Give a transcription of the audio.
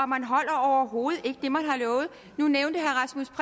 man holder overhovedet ikke det man har lovet nu nævnte herre rasmus